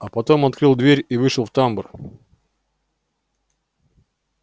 а потом открыл дверь и вышел в тамбур